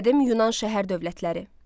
Qədim Yunan şəhər dövlətləri.